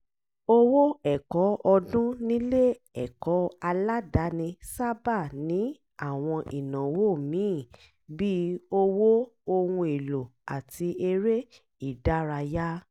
owó ẹ̀kọ́ ọdún nílé-ẹ̀kọ́ aládàání sáábà ní àwọn ìnáwó míì bíi owó ohun èlò àti eré-ìdárayá